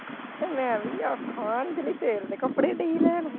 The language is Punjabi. ਤੇ ਮੈਂ ਵੀ ਅੱਖਾਂ ਅੰਜਲੀ sale ਦੇ ਕਪੜੇ ਦਈ ਲੈਣ।